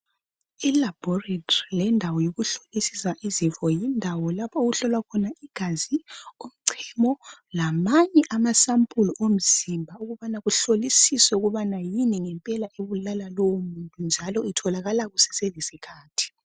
Ilabhoretri lendawo yokuhlolisisa izifo. Yindawo lapho okuhlolwa khona igazi, umchemo, lamanye amasampuli omzimba ukubana kuhlolisiswe ukubana yini ngempela ebulala lowomununtu, njalo itholakala kuseselesikhathi.